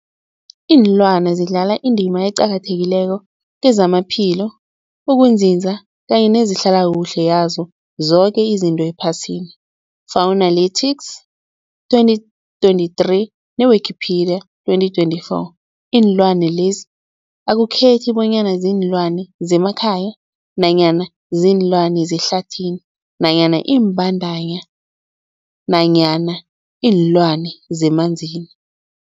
Ilwana zidlala indima eqakathekileko kezamaphilo, ukunzinza kanye nezehlala kuhle yazo zoke izinto ephasini, Fuanalytics 2023, ne-Wikipedia 2024. Iinlwana lezi akukhethi bonyana ziinlwana zemakhaya nanyana kuziinlwana zehlathini nanyana iimbandana nanyana iinlwana zemanzini.